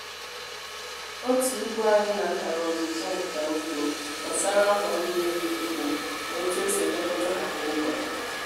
otu ugbo anyị natara ọzụzụ nka ugbo gbasara ngwa mmiri ugbo na otu esi elekọta ha kwa ụbọchị.